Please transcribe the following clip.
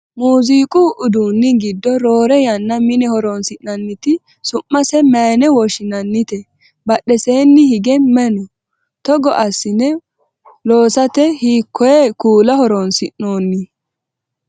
muziiqu uduunni giddo roore yanna mine horonsi'nanniti su'mase mayeene woshshinannite? badheseenni hige maye no? togo assine loosate hiikkoye kuula horonsi'noonni?